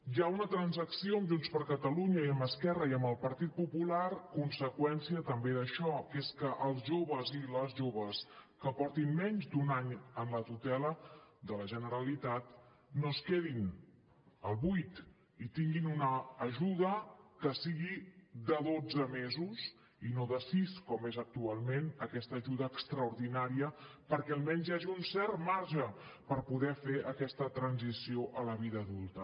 hi ha una transacció amb junts per catalunya i amb esquerra i amb el partit popular conseqüència també d’això que és que els joves i les joves que portin menys d’un any en la tutela de la generalitat no es quedin al buit i tinguin una ajuda que sigui de dotze mesos i no de sis com és actualment aquesta ajuda extraordinària perquè almenys hi hagi un cert marge per poder fer aquesta transició a la vida adulta